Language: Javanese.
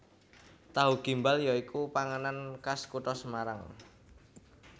Tahu Gimbal ya iku panganan khas kutha Semarang